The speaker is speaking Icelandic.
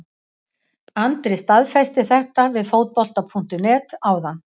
Andri staðfesti þetta við Fótbolta.net áðan.